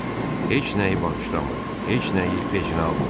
Heç nəyi bağışlamır, heç nəyi vecinə almırdı.